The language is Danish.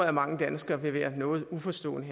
at mange danskere vil være noget uforstående